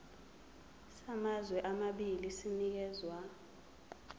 samazwe amabili sinikezwa